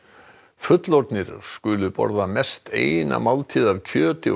fullorðnir skulu borða mest eina máltíð af kjöti og